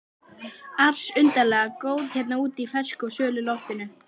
ars undarlega góð hérna úti í fersku og svölu loftinu.